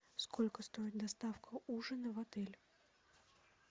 сколько стоит доставка ужина в отель